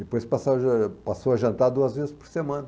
Depois passou a passou a jantar duas vezes por semana.